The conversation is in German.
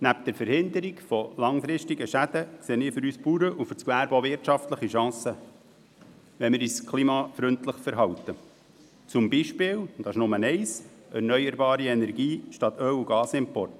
Neben der Verhinderung langfristiger Schäden sehe ich für uns Bauern und für das Gewerbe auch wirtschaftliche Chancen, wenn wir uns klimafreundlich verhalten und zum Beispiel erneuerbare Energien verwenden, anstatt Öl und Gas zu importieren.